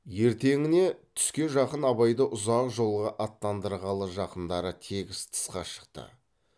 ертеңіне түске жақын абайды ұзақ жолға аттандырғалы жақындары тегіс тысқа шықты